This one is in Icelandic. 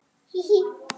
Hí, hí.